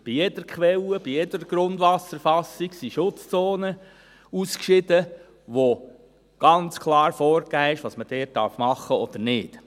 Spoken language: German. Bei jeder Quelle, bei jeder Grundwasserfassung sind Schutzzonen ausgeschieden, bei denen ganz klar vorgegeben ist, was man dort machen darf oder nicht.